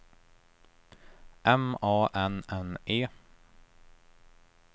M A N N E